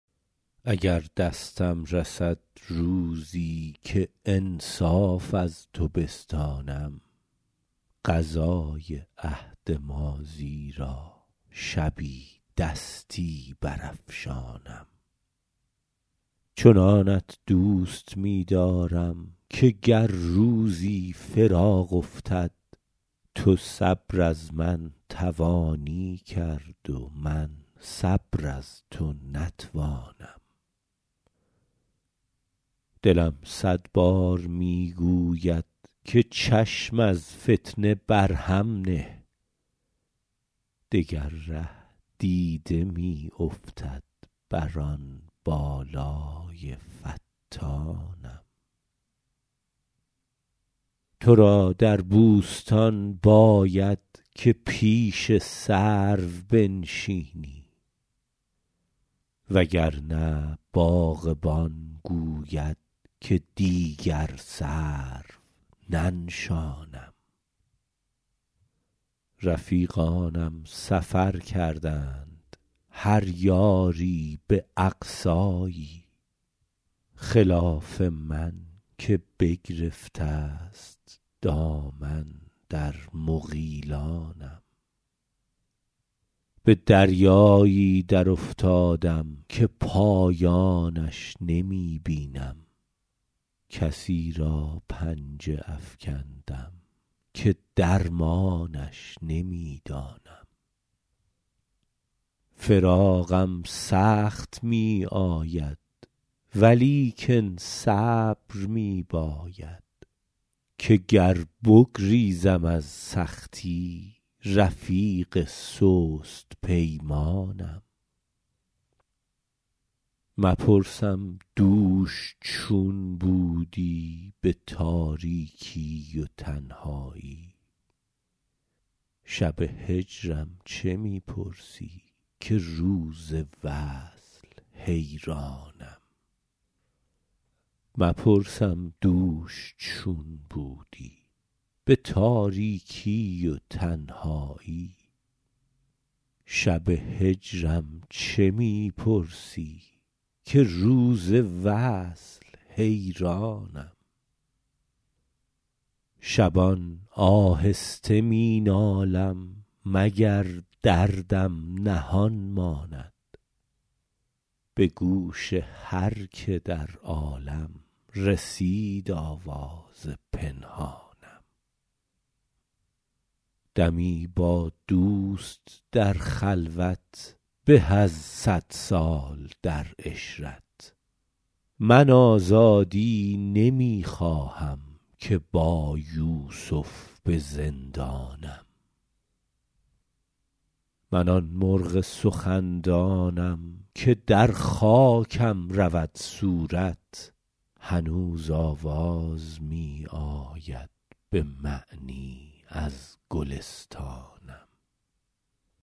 اگر دستم رسد روزی که انصاف از تو بستانم قضای عهد ماضی را شبی دستی برافشانم چنانت دوست می دارم که گر روزی فراق افتد تو صبر از من توانی کرد و من صبر از تو نتوانم دلم صد بار می گوید که چشم از فتنه بر هم نه دگر ره دیده می افتد بر آن بالای فتانم تو را در بوستان باید که پیش سرو بنشینی وگرنه باغبان گوید که دیگر سرو ننشانم رفیقانم سفر کردند هر یاری به اقصایی خلاف من که بگرفته است دامن در مغیلانم به دریایی درافتادم که پایانش نمی بینم کسی را پنجه افکندم که درمانش نمی دانم فراقم سخت می آید ولیکن صبر می باید که گر بگریزم از سختی رفیق سست پیمانم مپرسم دوش چون بودی به تاریکی و تنهایی شب هجرم چه می پرسی که روز وصل حیرانم شبان آهسته می نالم مگر دردم نهان ماند به گوش هر که در عالم رسید آواز پنهانم دمی با دوست در خلوت به از صد سال در عشرت من آزادی نمی خواهم که با یوسف به زندانم من آن مرغ سخندانم که در خاکم رود صورت هنوز آواز می آید به معنی از گلستانم